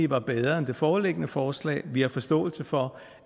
var bedre end det foreliggende forslag vi har forståelse for